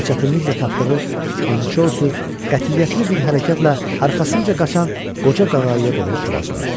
Və çətinliklə tapdığı ançosu qətiyyətli bir hərəkətlə arxasınca qaçan qoca qağayıya doğru tullazladı.